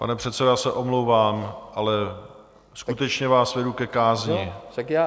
Pane předsedo, já se omlouvám, ale skutečně vás vedu ke kázni.